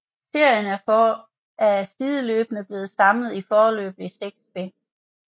Serien er sideløbende blevet samlet i foreløbig 6 bind